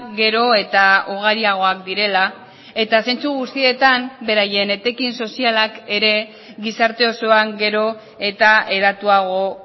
gero eta ugariagoak direla eta zentzu guztietan beraien etekin sozialak ere gizarte osoan gero eta hedatuago